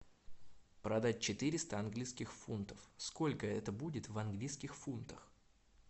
продать четыреста английских фунтов сколько это будет в английских фунтах